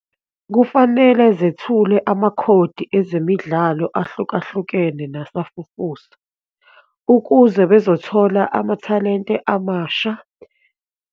Kufanele zethule amakhodi ezemidlalo ahlukahlukene nasafufusa ukuze bezothola amathalente amasha.